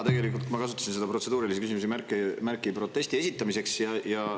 Tegelikult ma kasutasin seda protseduurilise küsimuse märki protesti esitamiseks.